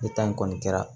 Ne ta in kɔni kɛra